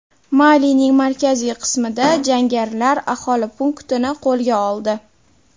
Malining markaziy qismida jangarilar aholi punktini qo‘lga oldi.